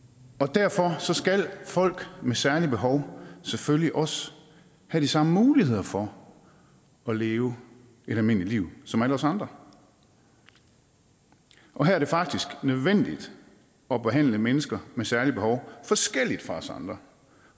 derfor skal folk med særlige behov selvfølgelig også have de samme muligheder for at leve et almindeligt liv som alle os andre og her er det faktisk nødvendigt at behandle mennesker med særlige behov forskelligt fra os andre